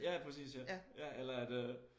Ja pærcis ja eller at øh